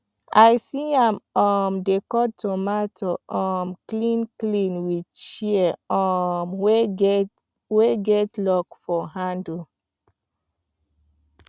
i see am um dey cut tomato um clean clean with shears um wey get lock for handle